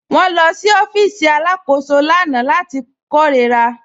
Wọn lọ sí ọ̀fíìsì alákòsó lána láti kẹrórà.